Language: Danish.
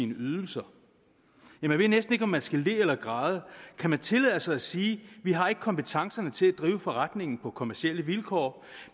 ydelser ja man ved næsten ikke om man skal le eller græde kan de tillade sig at sige vi har ikke kompetencerne til at drive forretningen på kommercielle vilkår